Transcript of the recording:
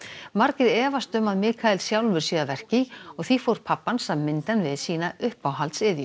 margir efast um að sjálfur sé að verki og því fór pabbi hans að mynda hann við sína uppáhalds iðju